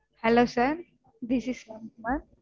Hello sir this is